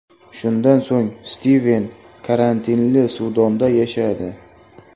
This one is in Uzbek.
Shundan so‘ng Stiven karantinli suvdonda yashadi.